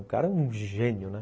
Um cara, um gênio, né?